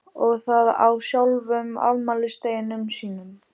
Og það á sjálfum afmælisdeginum sínum.